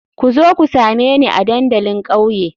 Ku zo ku same ni a dandalin kauye.